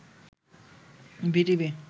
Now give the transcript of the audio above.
BTV